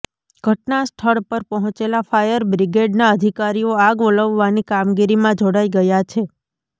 ઘટનાસ્થળ પર પહોંચેલા ફાયર બ્રિગેડના અધિકારીઓ આગ ઓલવવાની કામગીરીમાં જોડાઈ ગયા છે